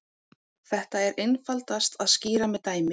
Þetta er einfaldast að skýra með dæmi.